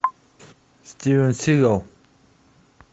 стивен сигал